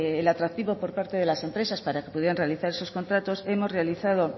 el atractivo por parte de las empresas para acceder a realizar esos contratos hemos realizado